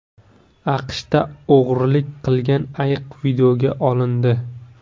AQShda o‘g‘rilik qilgan ayiq videoga olindi .